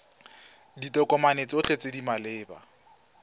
ditokomane tsotlhe tse di maleba